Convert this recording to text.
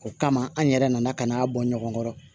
O kama an yɛrɛ nana ka na a bɔ ɲɔgɔn kɔrɔ